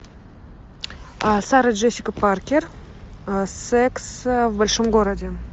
сара джессика паркер секс в большом городе